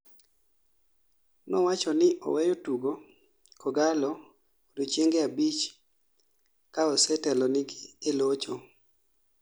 nowachoni oweyo tugo kogalo odiechienge abich kaose telonigi e locho